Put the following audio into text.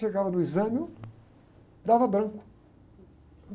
Chegava no exame, eu, dava branco.